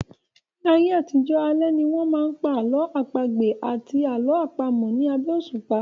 Ní ayé àtijọ́, alẹ́ ni wọ́n máa ń pa àlọ́ àpagbè àti àlọ́ àpamọ̀ ní abẹ́ òsùpá